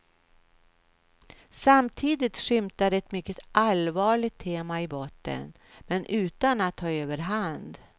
Samtidigt skymtar ett mycket allvarligt tema i botten men utan att ta överhand.